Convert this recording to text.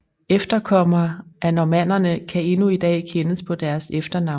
Efterkommere af normannerne kan endnu i dag kendes på deres efternavne